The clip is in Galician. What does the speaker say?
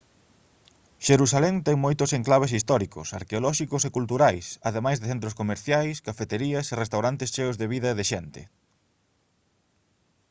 xerusalén ten moitos enclaves históricos arqueolóxicos e culturais ademais de centros comerciais cafeterías e restaurantes cheos de vida e de xente